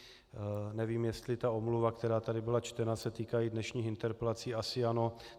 Nevím, jestli ta omluva, která tady byla čtena, se týká i dnešních interpelací, asi ano.